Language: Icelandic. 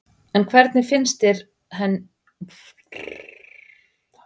En hvernig finnst henni íslenska deildin?